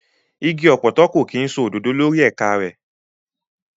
Igi ọ̀pọ̀tọ́ kò kí ń so òdòdó lórí ẹ̀ka rẹ̀.